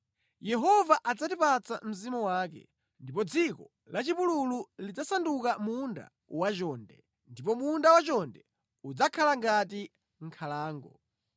Yehova adzatipatsa mzimu wake, ndipo dziko lachipululu lidzasanduka munda wachonde, ndipo munda wachonde udzakhala ngati nkhalango.